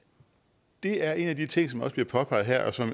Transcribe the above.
det afgørende er en af de ting som også bliver påpeget her og som